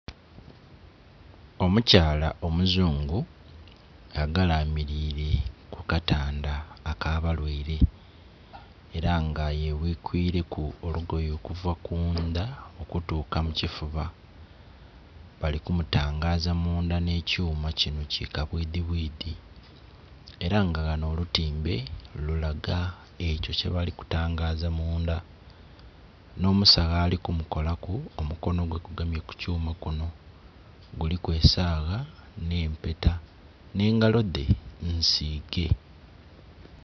Omukyala omuzungu agalamilire ku katanda ak'abalwaire, era nga yebwikwileku olugoye okuva kundha okutuuka mu kifuba. Bali kumutangaza mundha nh'ekyuma kino ki kabwidhibwidhi, era nga ghano olutimbe lulaga ekyo kyebali kutangaza mundha. Nh'omusawo ali kumukolaku omukono gwe gugemye kukyuma kuno, guliko esagha nh'empeta, nh'engalo dhe nsiige.